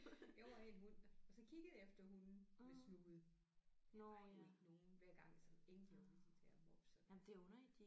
Jeg var ikke en hund og så kiggede jeg efter hunde med snude der var jo ikke nogen hver gang så endte jeg jo med de der mopser der